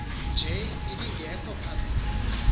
nje ibingekho phambili